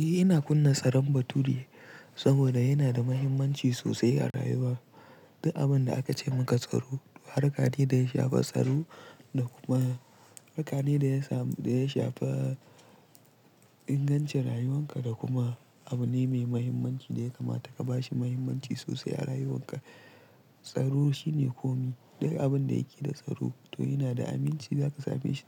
Eh ina kunna tsaron baturi saboda yana da mahimmanci sosai a rayuwa. Duka abin da aka ce maka tsaro, harka ne da ya shafa tsaro da kuma harka ne da ya samu, da ya shafa ingancin rayuwanka da kuma abu ne mai mahimmanci da ya kamata ka ba shi mahimmanci sosai a rayuwanka. Tsaro shine komi, duk abin da yake da tsaro to yana da aminci, za ka same shi,